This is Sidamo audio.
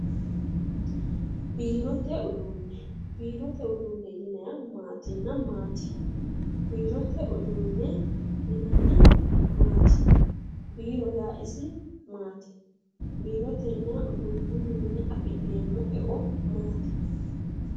Biirote uduunne. biirote uduunne yinayiihu maatinna maati? biirote uduunne yinannihu maati? biiro yaa isi maati? biirotenna uduunnuwiinni afi'neemmo eo maati?